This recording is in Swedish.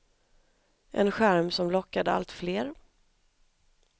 En charm som lockade allt fler.